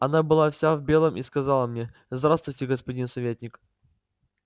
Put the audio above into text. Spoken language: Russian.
она была вся в белом и сказала мне здравствуйте господин советник